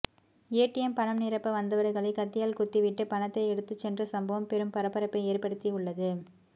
ATM பணம் நிரப்ப வந்தவர்களை கத்தியால் குத்தி விட்டு பனத்தை எடுத்து சென்ற சம்பவம் பெரும் பரபரப்பை ஏற்படுத்தி உள்ளது